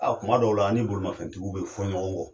Aa kuma dɔw la an ni bolimafɛntigiw be fɔ ɲɔgɔn kɔ.